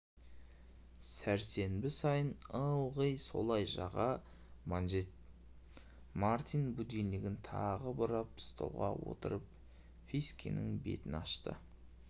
сәрсенбі сайын ылғи солай жаға манжетмартин будильнигін тағы бұрап столға отырып фискенің бетін ашты